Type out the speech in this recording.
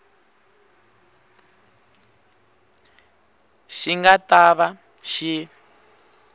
xi nga ta va xi